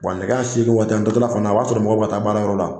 Wa nɛgɛ ɲɛ seegin waati an taa tɔla fana o b'a sɔrɔ mɔgɔw bɛ ka taa baara yɔrɔ la.